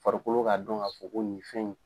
Farikolo k'a dɔn k'a fɔ ko nin fɛn in